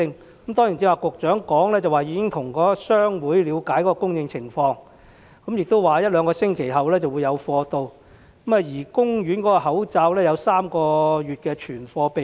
局長剛才說已經向商會了解供應情況，說一兩星期後會有供應，而公營醫院的口罩亦有3個月的存貨備用。